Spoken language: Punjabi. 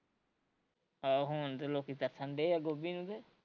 ਆਹੋ ਹੁਣ ਤੇ ਲੋਕੀਂ ਤਰਸਣ ਡਏ ਆ ਗੋਭੀ ਨੂੰ ਤੇ